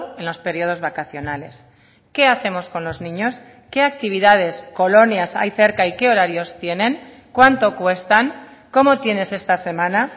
en los periodos vacacionales qué hacemos con los niños qué actividades colonias hay cerca y qué horarios tienen cuánto cuestan cómo tienes esta semana